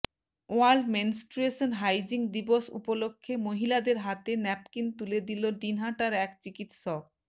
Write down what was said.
world menstruation hygiene দিবস উপলক্ষে মহিলাদের হাতে ন্যাপকিন তুলে দিল দিনহাটার এক চিকিৎসক